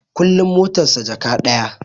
Kullin motar sa Jaka ɗaya